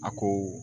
A ko